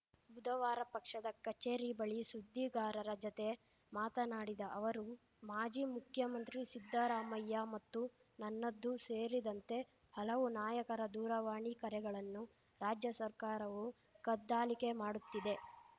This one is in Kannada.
ಬುಧವಾರ ಪಕ್ಷದ ಕಚೇರಿ ಬಳಿ ಸುದ್ದಿಗಾರರ ಜತೆ ಮಾತನಾಡಿದ ಅವರು ಮಾಜಿ ಮುಖ್ಯಮಂತ್ರಿ ಸಿದ್ದರಾಮಯ್ಯ ಮತ್ತು ನನ್ನದು ಸೇರಿದಂತೆ ಹಲವು ನಾಯಕರ ದೂರವಾಣಿ ಕರೆಗಳನ್ನು ರಾಜ್ಯ ಸರ್ಕಾರವು ಕದ್ದಾಲಿಕೆ ಮಾಡುತ್ತಿದೆ